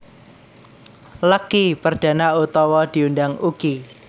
Lucky Perdana utawa diundang Uky